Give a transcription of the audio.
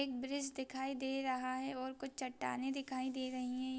एक ब्रिज दिखाई दे रहा है और कुछ चट्टानें दिखाई दे रही है।